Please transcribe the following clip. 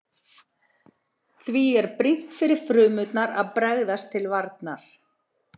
Því er brýnt fyrir frumurnar að bregðast til varnar.